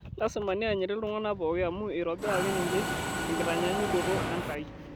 Lasima neanyiti ltung'ana pooki amu eitobiraki ninche te nkitanyaanyukoto Enkai